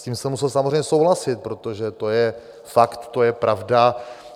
S tím jsem musel samozřejmě souhlasit, protože to je fakt, to je pravda.